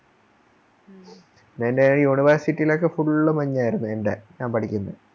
പിന്നെയി University ലോക്കെ Full മഞ്ഞായിരുന്നു എൻറെ ഞാൻ പഠിക്കുന്നെ